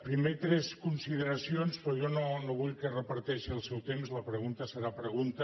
primer tres consideracions però jo no vull que reparteixi el seu temps la pregunta serà pregunta